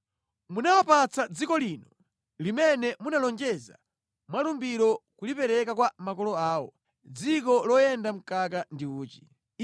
Munawapatsa dziko lino limene munalonjeza mwalumbiro kulipereka kwa makolo awo, dziko loyenda mkaka ndi uchi.